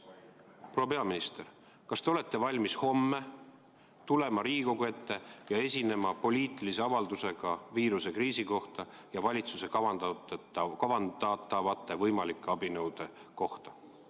Proua peaminister, kas te olete valmis homme tulema Riigikogu ette ja esinema poliitilise avaldusega viirusekriisi kohta ja valitsuse kavandatavate võimalike abinõude kohta?